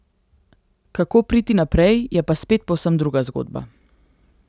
Kako priti naprej je pa spet povsem druga zgodba.